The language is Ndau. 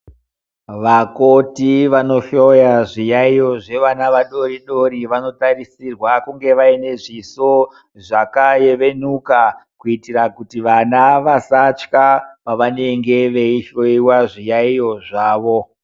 Vakoti vanohloya zviyaiyo zvevana vadori-dori, vanotarisirwa kunge vaine e zviso zvakanyevenuka, kuitira kuti vana vasatya, pavanenge veihloyiwa, zviyaiyo zvavo.